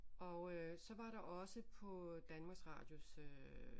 Og øh så var der også på Danmarks Radios øh